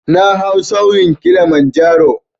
Na hau tsaunin Kilimanjaro